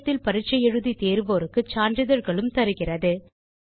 இணையத்தில் பரிட்சை எழுதி தேர்வோருக்கு சான்றிதழ்களும் தருகிறது